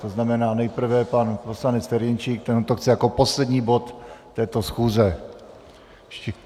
To znamená, nejprve pan poslanec Ferjenčík, ten to chce jako poslední bod této schůze.